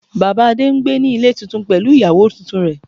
Bàbá Adé n gbé ní Ilé tuntun pẹ̀lú ìyàwó tuntun rẹ̀